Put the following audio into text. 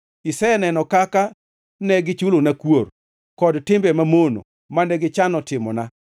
Iseneno kaka ne gichulona kuor, kod timbe mamono mane gichano timona.